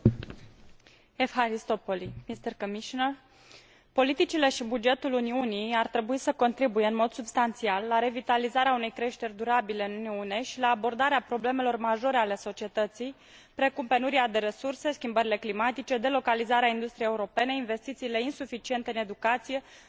Politicile și bugetul Uniunii ar trebui să contribuie în mod substanțial la revitalizarea unei creșteri durabile în Uniune și la abordarea problemelor majore ale societății, precum penuria de resurse, schimbările climatice, delocalizarea industriei europene, investițiile insuficiente în educație, sănătate, cercetare și lipsa ofertei locurilor de muncă.